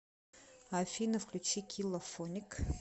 афина включи килла фоник